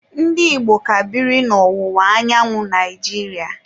Ndi Igbo ka biri n'ọwụwa anyanwụ Naijiria.